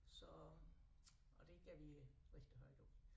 Så og det går vi rigtig højt op